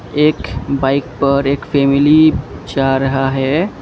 एक बाइक पर एक फैमिली जा रहा है।